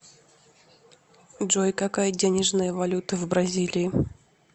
джой какая денежная валюта в бразилии